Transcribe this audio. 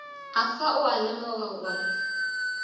afa o a lemoga gore